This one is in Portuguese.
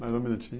Mais um minutinho.